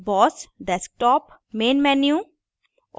boss desktop main menu